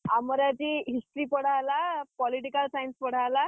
ଆମର ଆଜି History ପଢାହେଲା Political Science ପଢାହେଲ।